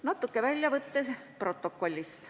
Mõni väljavõte protokollist.